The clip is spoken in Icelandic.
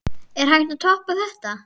Er hægt að toppa þetta?